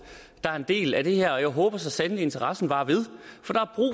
der er en del af det her og jeg håber så sandelig interessen varer ved